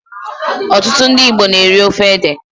Most Igbos eat cocoyam soup.